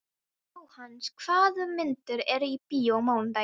Jóhannes, hvaða myndir eru í bíó á mánudaginn?